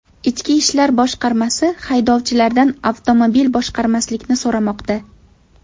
Ichki ishlar boshqarmasi haydovchilardan avtomobil boshqarmaslikni so‘ramoqda.